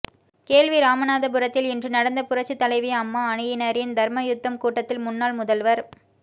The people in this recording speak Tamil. கேள்விராமநாதபுரத்தில் இன்று நடந்த புரட்சித் தலைவி அம்மா அணியினரின் தர்மயுத்தம் கூட்டத்தில் முன்னாள் முதல்வர்